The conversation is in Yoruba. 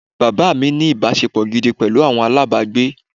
Bàbá mi ní ìbáṣepọ̀ gidi pẹ̀lú àwọn alábàágbé.